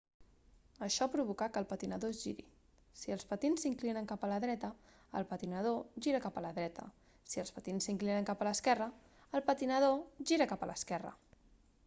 això provoca que el patinador es giri si els patins s'inclinen cap a la dreta el patinador gira cap a la dreta si els patins s'inclinen cap a l'esquerra el patinador gira cap a l'esquerra